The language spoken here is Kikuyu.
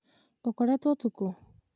ũkoretwo ũtukũ?